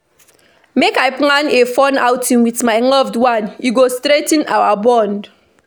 Make I plan a fun outing with my loved one; e go strengthen our bond.